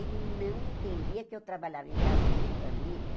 Ele não entendia que eu trabalhava em casa de família.